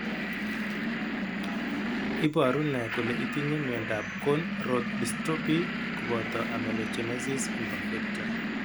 Iporu ne kole itinye miondap Cone rod dystrophy kopoto amelogenesis imperfecta?